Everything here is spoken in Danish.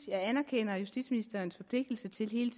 jeg anerkender justitsministerens forpligtelse til hele